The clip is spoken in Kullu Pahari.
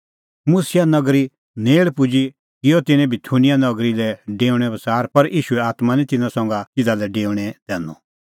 मुसिआ नगरी नेल़ पुजी किअ तिन्नैं बिथूनिया नगरी लै डेऊणेओ बच़ार पर ईशूए आत्मां निं तिन्नां तिधा लै डेऊणैं दैनअ